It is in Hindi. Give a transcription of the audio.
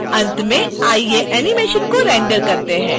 अंत में आइए एनीमेशन को रेंडर करते हैं